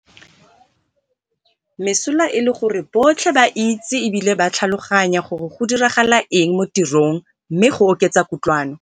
Mesola e le gore botlhe ba itse e bile ba tlhaloganya gore go diragala eng mo tirong mme go oketsa kutlwano.